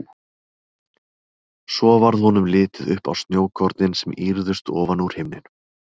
Svo varð honum litið upp á snjókornin sem ýrðust ofan úr himninum.